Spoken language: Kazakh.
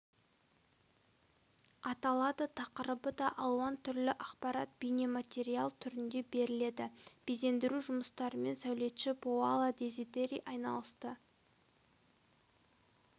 аталады тақырыбы да алуан түрлі ақпарат бейнематериал түрінде беріледі безендіру жұмыстарымен сәулетші паоло дезидери айналысты